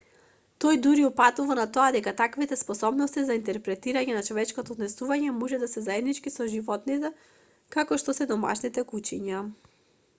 тој дури упатува на тоа дека таквите способности за интерпретирање на човечкото однесување може да се заеднички со животните како што се домашните кучиња